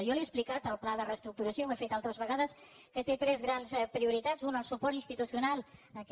jo li he explicat que el pla de reestructuració ho he fet altres vegades té tres grans prioritats una el suport institucional aquest